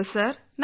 ಧನ್ಯವಾದ